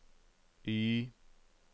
Y